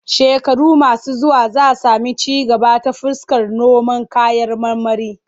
Shekaru masu zuwa za sami ci gaba ta fuskar noman kayan marmari.